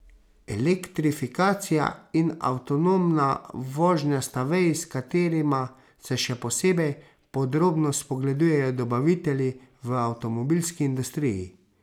Elektrifikacija in avtonomna vožnja sta veji, s katerima se še posebej podrobno spogledujejo dobavitelji v avtomobilski industriji.